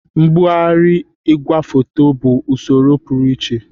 Mgbagharị igwefoto bụ usoro pụrụ iche